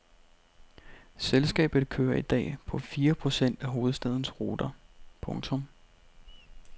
Selskabet kører i dag på fire procent af hovedstadens ruter. punktum